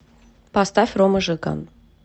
поставь рома жиган